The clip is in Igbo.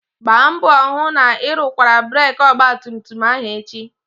Gbaa mbọ hụ na ị rụkwara breeki ọgbatumtum ahụ echi!